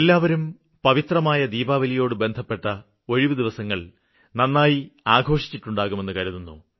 എല്ലാവരും പവിത്രമായ ദീപാവലിയോട് ബന്ധപ്പെട്ട ഒഴിവു ദിവസങ്ങള് നന്നായി ആഘോഷിച്ചിട്ടുണ്ടാകുമെന്നു കരുതുന്നു